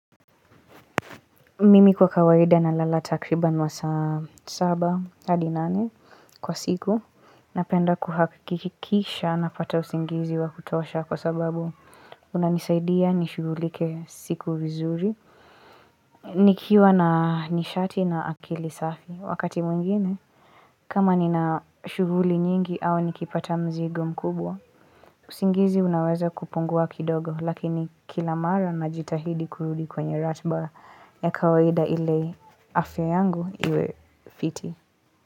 Mimi kwa kawaida nalala takriban masaa saba, hadi nane, kwa siku, napenda kuhakikisha napata usingizi wa kutosha kwa sababu unanisaidia nishugulike siku vizuri. Nikiwa na nishati na akili safi, wakati mwingine, kama nina shughuli nyingi au nikipata mzigo mkubwa, usingizi unaweza kupungua kidogo, lakini kila mara najitahidi kurudi kwenye ratba ya kawaida ile afya yangu iwe fiti.